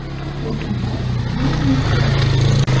Lekin biz o‘yin elementiga muhtojmiz.